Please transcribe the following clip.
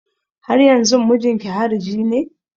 Haryanzun mijinki hariji ne?